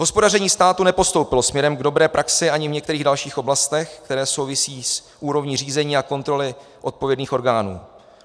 Hospodaření státu nepostoupilo směrem k dobré praxi ani v některých dalších oblastech, které souvisejí s úrovní řízení a kontroly odpovědných orgánů.